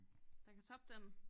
Der kan toppe den?